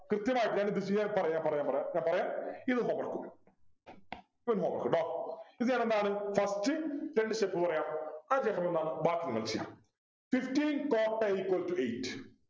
കൃത്യമായിട്ട് ഞാൻ ഇത് ചെയ്യാൻ പറയാം പറയാം പറയാം ഇത് നോക്കണം ഇത് നോക്കണം കേട്ടോ ഇത് ഞാൻ എന്താണ് first രണ്ടു steps പറയാം അതിനു ശേഷമെന്താണ് ബാക്കി നിങ്ങള് ചെയ്യണം fifteen cot a equal to eight